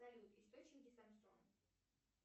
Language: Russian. салют источники самсон